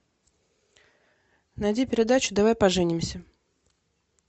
найди передачу давай поженимся